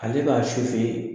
Ale b'a ye